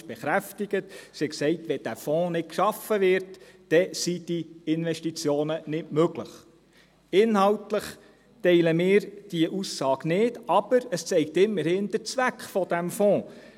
Sie sagte: «Wenn dieser Fonds nicht geschaffen wird, sind diese Investitionen nicht möglich.» Inhaltlich teilen wir diese Aussage nicht, aber es zeigt immerhin den Zweck dieses Fonds.